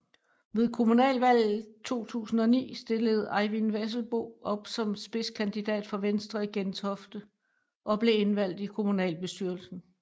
Ved Komunalvalget 2009 stillede Eyvind Vesselbo op som spidskandidat for Venstre i Gentofte og blev indvalgt til kommunalbestyrelsen